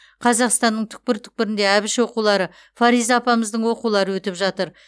қазақстанның түкпір түкпірінде әбіш оқулары фариза апамыздың оқулары өтіп жатыр